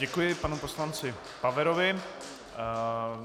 Děkuji panu poslanci Paverovi.